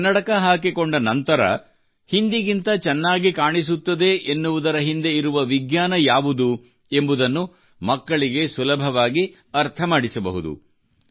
ಕನ್ನಡಕ ಹಾಕಿಕೊಂಡ ನಂತರ ಹಿಂದಿಗಿಂತ ಚೆನ್ನಾಗಿ ಕಾಣಿಸುತ್ತಿದೆ ಎನ್ನುವುದರ ಹಿಂದೆ ಇರುವ ವಿಜ್ಞಾನ ಯಾವುದು ಎಂಬುದನ್ನು ಮಕ್ಕಳಿಗೆ ಸುಲಭವಾಗಿ ಅರ್ಥ ಮಾಡಿಸಬಹುದು